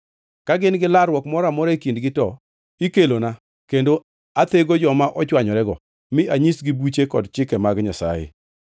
Ka gin gi larruok moro amora e kindgi, to ikelona kendo athego joma ochwanyorego mi anyisgi buche kod chike mag Nyasaye.